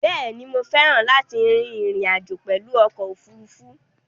Bẹ́ẹ̀ ni, mo féràn láti rin ìrìn àjò pèlu okò òfurufú?